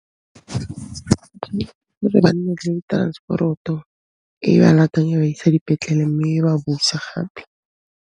Ke gore ba nne le transporoto e ba latella e ba isa dipetlele, mme e ba busa gape.